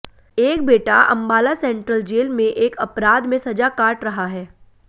एक बेटा Ambala central jail में एक अपराध में सजा काट रहा है